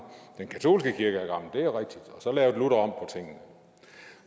den katolske kirke og så lavede luther om